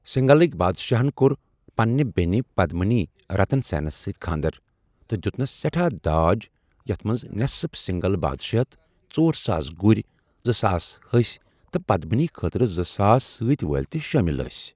سِنٛگھلٕکۍ بادشاہن کوٚر پنٛنہِ بیٚنہِ پدمِنی رَتن سیٚنس سۭتۍ كھاندر ، تہٕ دیُتنَس سٮ۪ٹھا داج تہِ یتھ منٛز نٮ۪صٕف سِنٛگھل بادشٲہِیت ، ژۄرساس گُرۍ، زٕساس ہسۍ تہٕ پدمِنی خٲطرٕ زٕساس سٲتہِ وٲلہِ تہِ شٲمِل ٲسۍ ۔